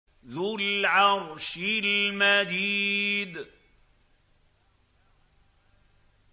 ذُو الْعَرْشِ الْمَجِيدُ